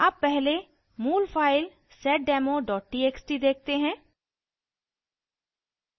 अब पहले मूल file seddemo txt देखते हैं